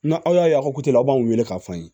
Na aw y'a ye a ka la aw b'anw wele k'a fɔ an ye